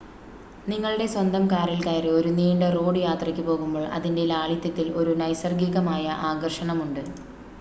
നിങ്ങളുടെ സ്വന്തം കാറിൽ കയറി ഒരു നീണ്ട റോഡ് യാത്രയ്ക്ക് പോകുമ്പോൾ അതിൻ്റെ ലാളിത്യത്തിൽ ഒരു നൈസർഗികമായ ആകർഷണം ഉണ്ട്